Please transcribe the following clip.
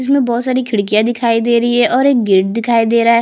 इसमें बहोत सारे खिड़कियाँ दिखाई दे रही है और एक गेट दिखाई दे रहा है।